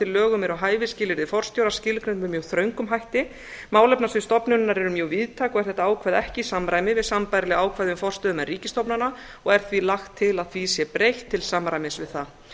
lögum eru hæfis skilyrði forstjóra skilgreind með mjög þröngum hætti málefnasvið stofnunarinnar eru mjög víðtæk og er þetta ákvæði ekki í samræmi við sambærileg ákvæði um forstöðumenn ríkisstofnana og er því lagt til að því sé breytt til samræmis við það